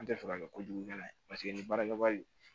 An tɛ fɛ ka kɛ kojugukɛla ye paseke ni baarakɛwari